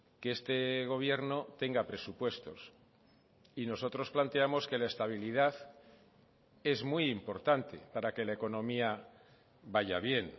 que este gobierno tenga presupuestos y nosotros planteamos que la estabilidad es muy importante para que la economía vaya bien